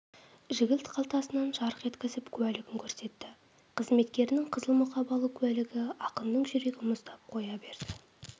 жігіт қалтасынан жарқ еткізіп куәлігін көрсетті қызметкерінің қызыл мұқабалы куәлігі ақынның жүрегі мұздап қоя берді